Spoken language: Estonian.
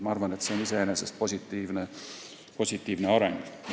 Ma arvan, et see on iseenesest positiivne areng.